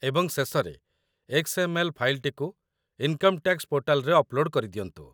ଏବଂ ଶେଷରେ ଏକ୍ସ.ଏମ୍.ଏଲ୍. ଫାଇଲ୍‌ଟିକୁ ଇନକମ୍ ଟ୍ୟାକ୍ସ ପୋର୍ଟାଲରେ ଅପ୍‌ଲୋଡ଼୍‌ କରିଦିଅନ୍ତୁ